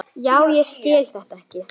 Já, ég skil þetta ekki.